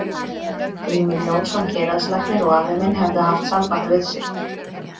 Grímur Jónsson héraðslæknir og afi minn hefðu haft samband við sig.